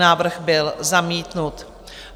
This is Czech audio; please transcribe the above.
Návrh byl zamítnut.